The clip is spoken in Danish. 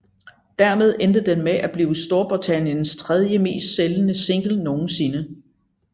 Dermed endte den med at blive Storbritanniens tredjemest sælgende single nogensinde